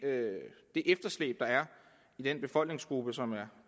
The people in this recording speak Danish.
efterslæb der er i den befolkningsgruppe som